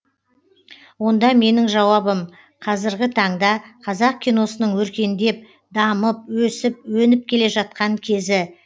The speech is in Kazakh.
онда менің жауабым қазіргі таңда қазақ киносының өркендеп дамып өсіп өніп келе жатқан кезі